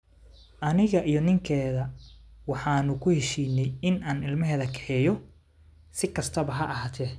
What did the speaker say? Aniga iyo ninkeeda waxa aanu ku heshiinay in aan ilmaheeda kaxeeyo, si kastaba ha ahaatee.